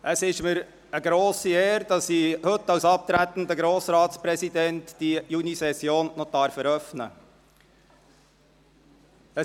Es ist mir eine grosse Ehre, dass ich die Junisession heute, als abtretender Grossratspräsident, noch eröffnen darf.